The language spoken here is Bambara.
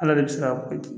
Ala de bɛ se ka ko di